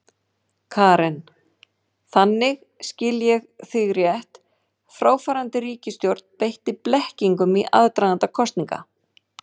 Karen: Þannig, skil ég þig rétt, fráfarandi ríkisstjórn beitti blekkingum í aðdraganda kosninga?